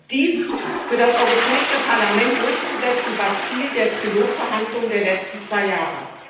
Dies für das Europäische Parlament durchzusetzen, war Ziel der Trilog Verhandlungen der letzten zwei Jahre.